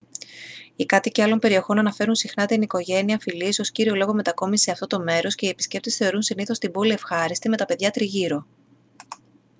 οι κάτοικοι άλλων περιοχών αναφέρουν συχνά την οικογένεια-φιλίες ως κύριο λόγο μετακόμισης σε αυτό το μέρος και οι επισκέπτες θεωρούν συνήθως την πόλη ευχάριστη με τα παιδιά τριγύρω